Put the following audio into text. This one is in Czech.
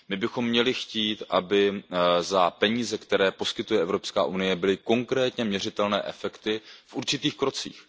My bychom měli chtít, aby za peníze, které poskytuje Evropská unie, byly konkrétně měřitelné efekty v určitých krocích.